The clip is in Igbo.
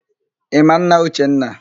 Ị ma nna Uchenna?